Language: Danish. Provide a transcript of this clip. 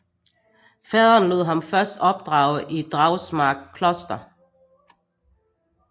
Faderen lod ham først opdrage i Dragsmark Kloster